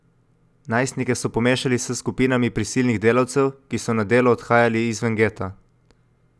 Najstnike so pomešali s skupinami prisilnih delavcev, ki so na delo odhajali izven geta.